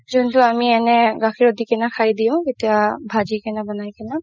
কিন্তু আমি এনে গাখীৰত দি কিনে খাই দিও কেতিয়া বাজি কিনে বনাই কিনেও